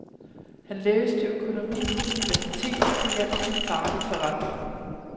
Han læste økonomi på universitetet og hjalp sin far i forretningen.